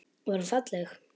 Var hún falleg?